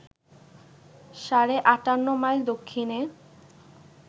সাড়ে ৫৮ মাইল দক্ষিণে